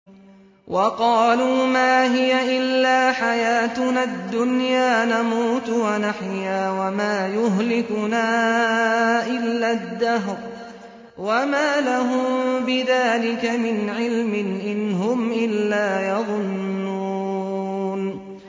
وَقَالُوا مَا هِيَ إِلَّا حَيَاتُنَا الدُّنْيَا نَمُوتُ وَنَحْيَا وَمَا يُهْلِكُنَا إِلَّا الدَّهْرُ ۚ وَمَا لَهُم بِذَٰلِكَ مِنْ عِلْمٍ ۖ إِنْ هُمْ إِلَّا يَظُنُّونَ